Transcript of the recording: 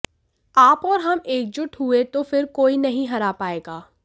आप ओर हम एकजुट हुए तो फिर कोई नहीं हरा पाएगा